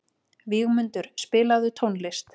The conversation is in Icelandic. Vígmundur, spilaðu tónlist.